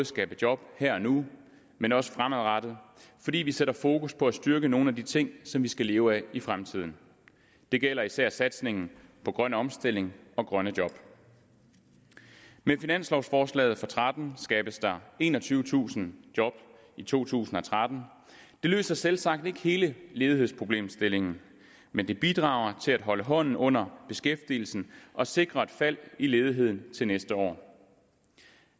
skabe job her og nu men også fremadrettet fordi vi sætter fokus på at styrke nogle af de ting som vi skal leve af i fremtiden det gælder især satsningen på grøn omstilling og grønne job med finanslovforslaget for tretten skabes der enogtyvetusind job i to tusind og tretten det løser selvsagt ikke hele ledighedsproblemstillingen men det bidrager til at holde hånden under beskæftigelsen og sikre et fald i ledigheden til næste år